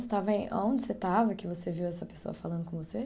Você estava aonde você estava que você viu essa pessoa falando com você?